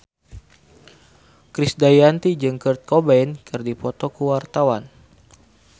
Krisdayanti jeung Kurt Cobain keur dipoto ku wartawan